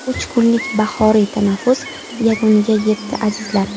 Uch kunlik bahoriy tanaffus yakuniga yetdi, azizlar.